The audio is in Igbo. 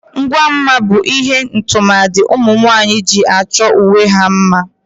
Ngwa mma bu ihe tụmadị ụmunwaanyị ji achọ onwe ha mma.